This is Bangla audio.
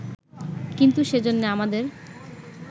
কিন্তু সেজন্যে আমাদের